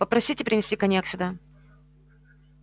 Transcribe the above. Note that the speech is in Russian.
попросите принести коньяк сюда